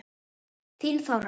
Þín, Þóra.